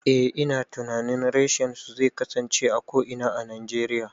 Eh ina tunanin reshen su zai kasance a ko'ina a Najeriya